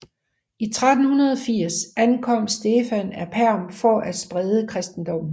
I 1380 ankom Stefan af Perm for at sprede kristendommen